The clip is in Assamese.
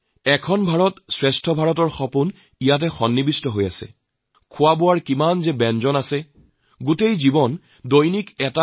আজি যেতিয়া মই দেশৰ এই গুৰত্বপূৰ্ণ দায়িত্ব পালন কৰিছো তেতিয়া সেই ভ্ৰমণৰ অভিজ্ঞতাই মোৰ যথেষ্ট কাম আহে